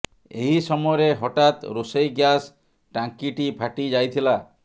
ଏହି ସମୟରେ ହଠାତ୍ ରୋଷେଇ ଗ୍ୟାସ୍ ଟାଙ୍କିଟି ଫାଟି ଯାଇଥିଲା